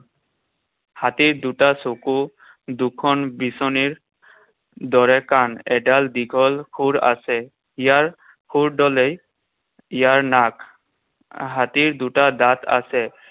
হাতীৰ দুটা চকু, দুখন বিচনীৰ দৰে কাণ, এডাল দীঘল শুঁৰ আছে। ইয়াৰ শুঁৰডালেই ইয়াৰ নাক। হাতীৰ দুটা দাঁত আছে।